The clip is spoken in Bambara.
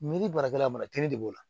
Ni baarakɛla ma kiiri de b'o la